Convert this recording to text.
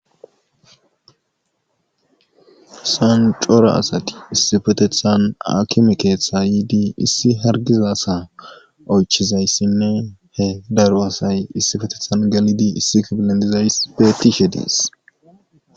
sancora asati issifetethan akime keeththa yiidi issi hargiza asa oychizayssinne he daru asay issifetethan gelidi issi kabilen dizays beetishe dees